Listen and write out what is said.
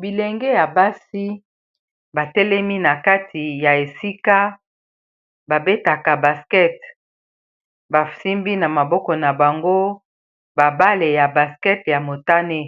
bilenge ya basi batelemi na kati ya esika babetaka baskete basimbi na maboko na bango babale ya baskete ya motane